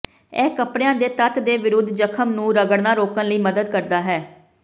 ਇਹ ਕਪੜਿਆਂ ਦੇ ਤੱਤ ਦੇ ਵਿਰੁੱਧ ਜ਼ਖ਼ਮ ਨੂੰ ਰਗੜਨਾ ਰੋਕਣ ਲਈ ਮਦਦ ਕਰਦਾ ਹੈ